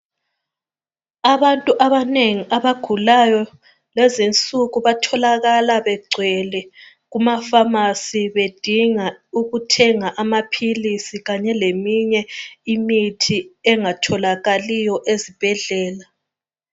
Abantu abanengi abagulayo lezinsuku batholakala begcwele kuma pharmacy bedinga ukuthenga amaphilisi kanye leminye imithi engatholakaliyo ezibhedlela.